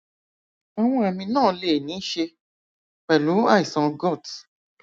àwọn àmì náà lè ní í ṣe pẹlú àìsàn gout